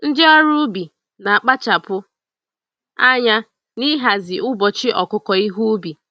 Ndị ọrụ ubi na akpachapụ anya n'ihazi ụbọchị ọkụkụ ihe ubi.